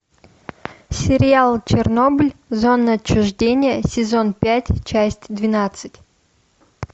сериал чернобыль зона отчуждения сезон пять часть двенадцать